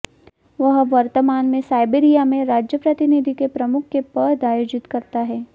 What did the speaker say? वह वर्तमान में साइबेरिया में राज्य प्रतिनिधि के प्रमुख के पद आयोजित करता है